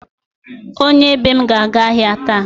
Onye be m ga-aga ahịa taa.